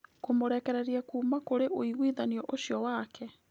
Kũmũrekereria kuuma kũri ũiguithanirio ũcio wake.